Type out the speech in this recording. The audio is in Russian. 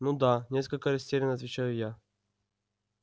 ну да несколько растеряно отвечаю я